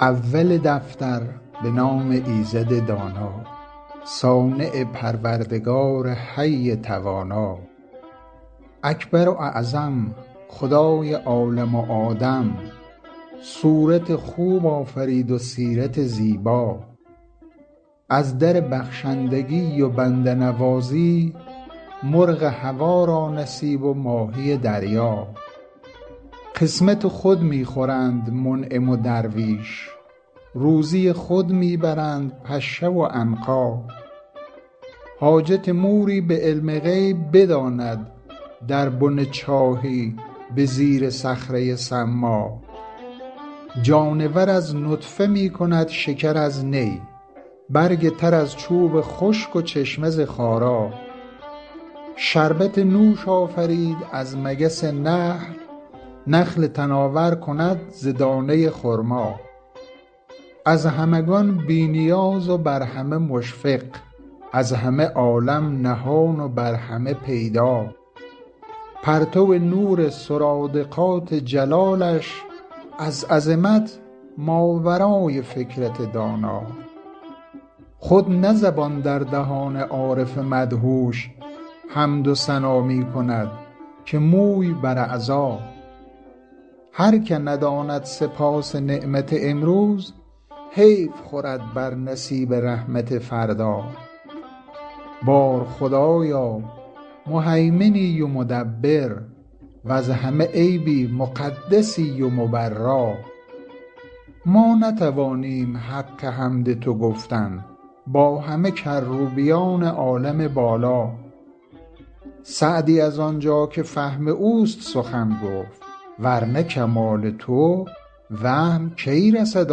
اول دفتر به نام ایزد دانا صانع پروردگار حی توانا اکبر و اعظم خدای عالم و آدم صورت خوب آفرید و سیرت زیبا از در بخشندگی و بنده نوازی مرغ هوا را نصیب و ماهی دریا قسمت خود می خورند منعم و درویش روزی خود می برند پشه و عنقا حاجت موری به علم غیب بداند در بن چاهی به زیر صخره ی صما جانور از نطفه می کند شکر از نی برگ تر از چوب خشک و چشمه ز خارا شربت نوش آفرید از مگس نحل نخل تناور کند ز دانه ی خرما از همگان بی نیاز و بر همه مشفق از همه عالم نهان و بر همه پیدا پرتو نور سرادقات جلالش از عظمت ماورای فکرت دانا خود نه زبان در دهان عارف مدهوش حمد و ثنا می کند که موی بر اعضا هر که نداند سپاس نعمت امروز حیف خورد بر نصیب رحمت فردا بار خدایا مهیمنی و مدبر وز همه عیبی مقدسی و مبرا ما نتوانیم حق حمد تو گفتن با همه کروبیان عالم بالا سعدی از آنجا که فهم اوست سخن گفت ور نه کمال تو وهم کی رسد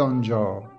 آنجا